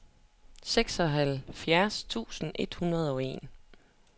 seksoghalvfjerds tusind et hundrede og en